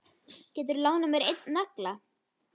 Geturðu lánað mér einn nagla.